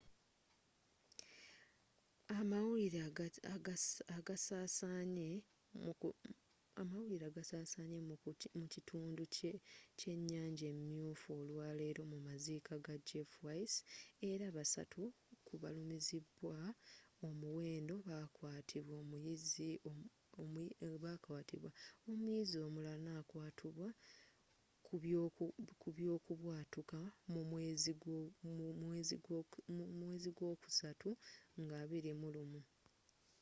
amawulire agasaasanye mu kitundu kyenyanja emyufu olwaleero mu maziika ga jeff weise era basatu ku balumizibwa omwenda bakwatibwa omuyizi omulala nakwatubwa kubyokubwatuuka mu mwezi gwokusatu nga 21